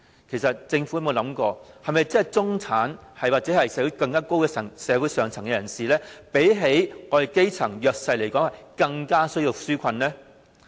其實政府有否細想，中產或社會更上層人士是否比基層和弱勢人士更需要這些紓困措施呢？